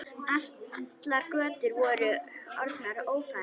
Allar götur voru orðnar ófærar.